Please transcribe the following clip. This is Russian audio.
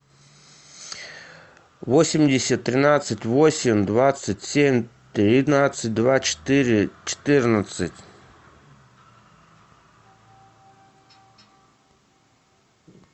восемьдесят тринадцать восемь двадцать семь тринадцать два четыре четырнадцать